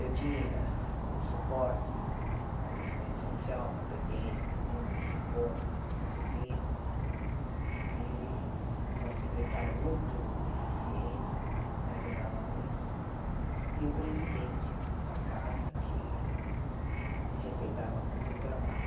Eu tinha como suporte uma assistente social competente também, uma psicóloga também competente, e uma secretária muito eficiente, que me ajudava muito, e o presidente da casa, que respeitava muito o meu trabalho.